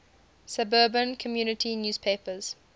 suburban community newspapers